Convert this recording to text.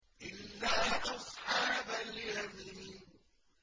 إِلَّا أَصْحَابَ الْيَمِينِ